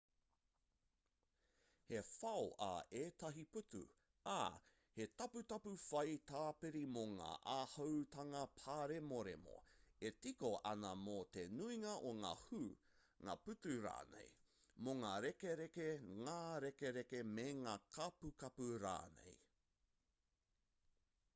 he whao ā ētahi pūtu ā he taputapu whao tāpiri mō ngā āhuatanga pāremoremo e tika ana mō te nuinga o ngā hū ngā pūtu rānei mō ngā rekereke ngā rekereke me ngā kapukapu rānei